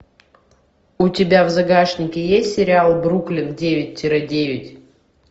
у тебя в загашнике есть сериал бруклин девять тире девять